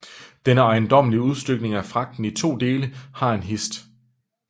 Denne ejendommelige Udstykning af Fragten i to Dele har en hist